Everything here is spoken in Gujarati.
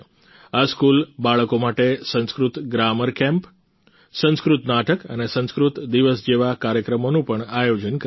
આ સ્કૂલ બાળકો માટે સંસ્કૃત ગ્રામર કેમ્પ સંસ્કૃત નાટક અને સંસ્કૃત દિવસ જેવા કાર્યક્રમોનું પણ આયોજન કરે છે